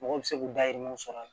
Mɔgɔ bɛ se k'u dayirimɛw sɔrɔ a la